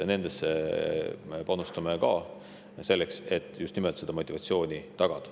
Nendesse me panustame ka, et just nimelt seda motivatsiooni tagada.